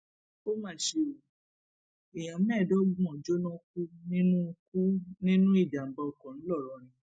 ó mà ṣe o èèyàn mẹẹẹdọgbọn jóná kú nínú kú nínú ìjàmbá ọkọ ńlọrọrìn